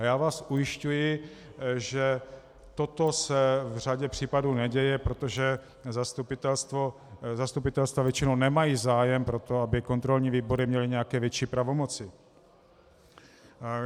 A já vás ujišťují, že toto se v řadě případů neděje, protože zastupitelstva většinou nemají zájem na tom, aby kontrolní výbory měly nějaké větší pravomoci.